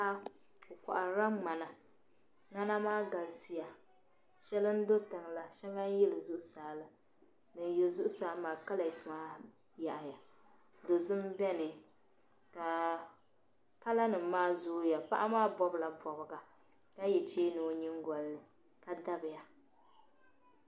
Paɣa ɔ kohiri la mŋana mŋana maa. galisi ya shɛli n dɔtiŋl shaŋa n yili zuɣu saala din yulila zuɣu maa kala s maa yaɣiya do' so n beni kaa , kalanim maa zooya paɣa maa maa bɔbla bɔbiga ka ye chɛmi ɔ nyaŋ golini